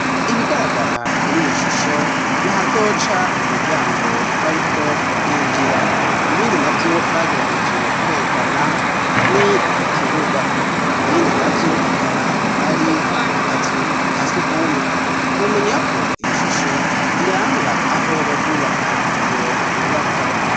Ibigaragara kuriyo shusho nahazoca umuryango bariko barinjira ibindi navyo bagerageje kwerekana ni ikibuga ibindi navyo akaba ari akazu kasugumwe womenya ko iyo shusho iranga aho bazubaka iyo nyubakwa.